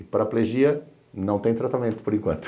E paraplegia não tem tratamento, por enquanto.